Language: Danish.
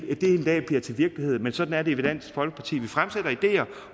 dag bliver til virkelighed men sådan er det med dansk folkeparti vi fremsætter ideer